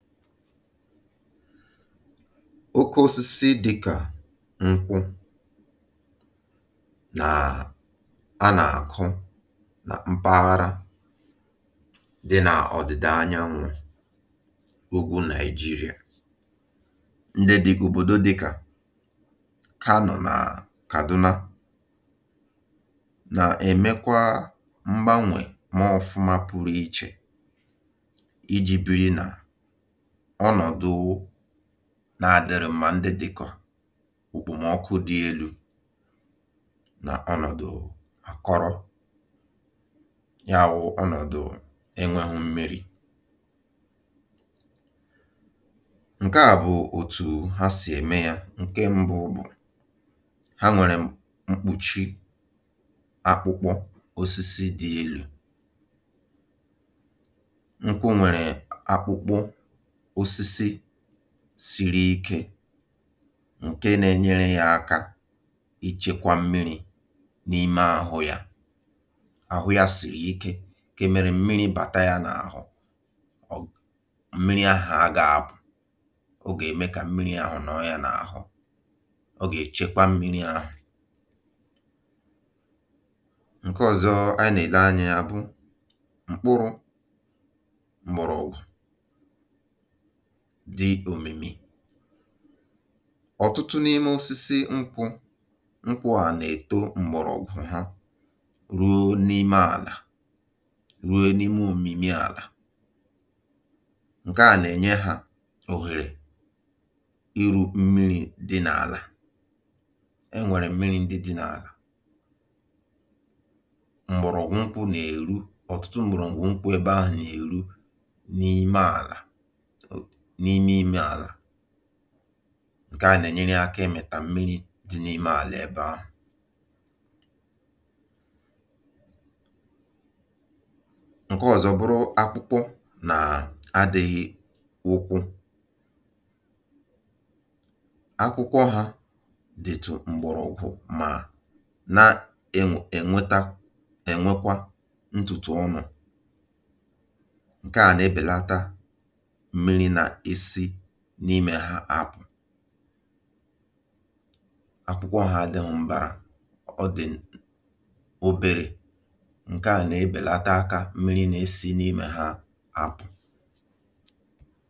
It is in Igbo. Oke osisi dịkà nkwụ nàà a nà-àkụ nà mpaghara dị nà ọ̀dị̀dà anyanwụ̇ ugwu Nàịjirịa, ndị dị̇kà òbòdo dịkà kanu nà kàduna nà-èmekwa mgbanwè maọ̀fụma pụrụ ichè iji biri na ọnọdụ nà adị̇rị̇ mma ndị dị̇kà okpomọkụ dị elu̇ nà ọnọ̀dụ̀ àkọrọ̇. Ya wụ̀ ọnọ̀dụ̀ enwėghụ mmi̇ri. Nke à bụ̀ òtù ha sì ème yȧ. Nke mbụ bụ̀, ha nwèrè mkpùchi akpụkpọ osisi dị elu̇. nkwụ nwere akpụkpọ osisi dị elu siri ike, ǹke na-enyere yȧ aka ichėkwȧ mmiri̇ n’ime àhụ yȧ. Ahụ yȧ sìri ike ke mere mmiri bàta yȧ n’àhụ mmiri̇ ahụ̀ a gȧbụ, ọ gà-ème kà mmiri̇ ahụ̀ nọrọ yȧ n’àhụ, ọ gà-èchekwa mmiri̇ ahụ̀. Nke ọ̀zọ a nà-èle anyȧ yȧ bụ, mgbọrọ̀gwụ̀ dị òmìmì, ọ̀tụtụ n’ime osisi nkwụ nkwụ̀ a nà-èto m̀gbọ̀rọ̀gwụ̀ ha ruo n’ime àlà, ruo n’ime òmìmì àlà. Nke à nà-ènye hȧ òhèrè iru mmiri̇ dị n’àlà. E nwèrè mmiri̇ ndị dị n’àlà. Mgbọ̀rọ̀gwụ̀ nkwụ ̇ nà-èru ọ̀tụtụ m̀gbọ̀rọ̀gwụ̀ nkwụ ebe ahụ̀ nà-èru n'ala, nimime ala. Nkè a nà-ènyere ya akȧ ịmịta mmiri̇ dị n’ime àlà ebe ahụ̀. Nke ọ̀zọ bụrụ akpụkpọ nàà adị̇ghị̇ ụkwụ. Akpụkpọ hȧ dìtụ̀ m̀gbọ̀rọ̀gwụ̀ mà na-enw, ènweta ènwekwa ntụtụ ọnụ̀. Nke a nà-ebèlata mmiri na-esi n’imè ha apụ̀. Akwụkwọ ha adị̇ghụ m̀bàrà, ọ dị̀ obèrè. Nke à nà-ebèlata akȧ mmiri̇ nà-esi n’imè ha apụ̀.